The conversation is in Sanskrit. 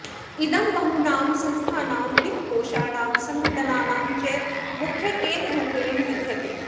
इदं बहूनां संस्थानां वित्तकोषाणां सङ्घटनानां च मुख्यकेन्द्ररूपेण विद्यते